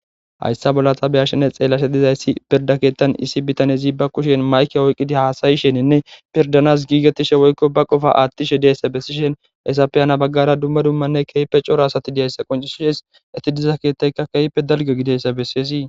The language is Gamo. hayssa bolla ta beyashene xeellashen dizayssi pirda keettan issi bitanezi ba kushen mayke oyqqidi haasayisheninne pirdanas giigattishe woykko ba qofa attishe deeyssa bessishen hesafe hana baggara dumma dummanne keype cora asati diayssa qoncisshes eti diza keettayka keyppe dalge gidessa bessiezii